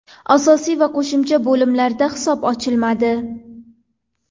Asosiy va qo‘shimcha bo‘limlarda hisob ochilmadi.